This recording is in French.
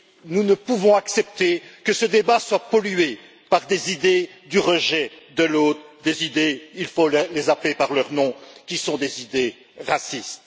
Nous ne pouvons accepter que ce débat soit pollué par des idées du rejet de l'autre, des idées il faut les appeler par leur nom qui sont des idées racistes.